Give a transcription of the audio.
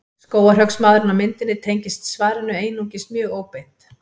Skógarhöggsmaðurinn á myndinni tengist svarinu einungis mjög óbeint.